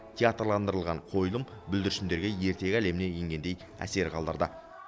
театрландырылған қойылым бүлдіршіндерге ертегі әлеміне енгендей әсер қалдырды